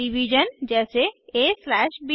division जैसे aब